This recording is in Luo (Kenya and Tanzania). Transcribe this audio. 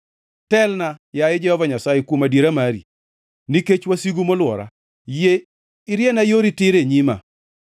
Telna, yaye Jehova Nyasaye, kuom adiera mari, nikech wasigu molwora, yie iriena yori tir e nyima.